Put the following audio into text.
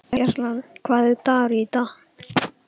Gerald, hvaða dagur er í dag?